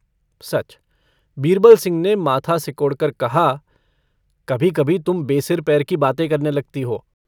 सच? बीरबल सिंह ने माथा सिकोड़कर कहा - कभी-कभी तुम बेसिर-पैर की बातें करने लगती हो।